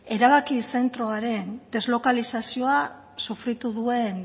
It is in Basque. erabaki zentroaren deslokalizazioa sufritu duen